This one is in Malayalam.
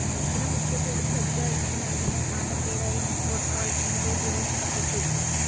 ചില മുഖ്യ പോലീസ് അധികാരിക്ക് നൽകുന്ന സ്ഥാനപ്പേരായും കോട്ട്‌‌വാൽ എന്നത് ഉപയോഗിക്കപ്പെട്ടു.